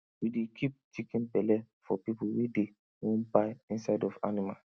we dey keep chicken belle for pipu wey dey wan buy inside of animal